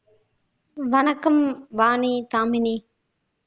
வணக்கம் வாணி தாமினி